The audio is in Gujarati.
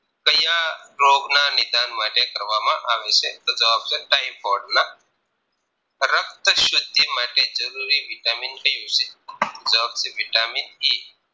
રોગના નિધાન માટે કરવામાં આવે છે તો જવાબ છે Typhoid ના રક્ત શુદ્ધિ માટે જરૂરી vitamin ક્યુ છે જવાબ છે vitamin E